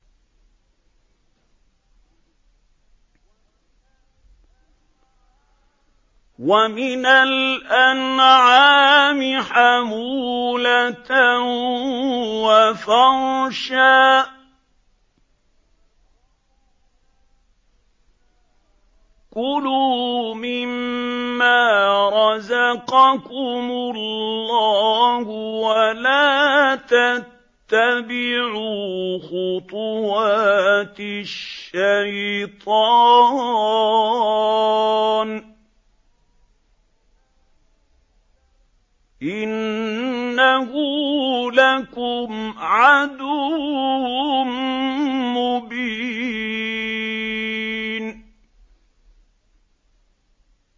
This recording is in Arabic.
وَمِنَ الْأَنْعَامِ حَمُولَةً وَفَرْشًا ۚ كُلُوا مِمَّا رَزَقَكُمُ اللَّهُ وَلَا تَتَّبِعُوا خُطُوَاتِ الشَّيْطَانِ ۚ إِنَّهُ لَكُمْ عَدُوٌّ مُّبِينٌ